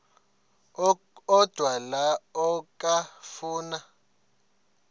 odwa la okafuna